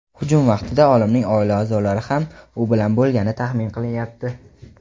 hujum vaqtida olimning oila a’zolari ham u bilan bo‘lgani taxmin qilinyapti.